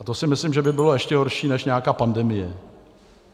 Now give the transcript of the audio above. A to si myslím, že by bylo ještě horší než nějaká pandemie.